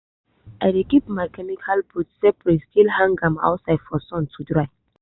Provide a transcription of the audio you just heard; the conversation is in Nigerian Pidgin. i dey keep my chemical boot separate still hang am outside for sun to dry